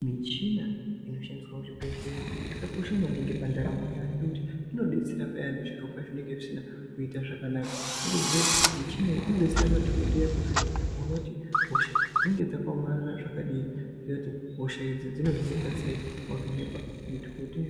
Michina inoshandiswa muzvibhedhlera yakakosha maningi pandaramo yedu ngekuti inodetsera Payani zviro pazvinenge zvisina kuita zvakanaka wotoziya kuti michina iyi inodetsera madhokodheya kuvhenekwa kuona kuti hosha dzinenge dzakaomarara zvakadini moona kuti hosha idzi dzinohinika sei.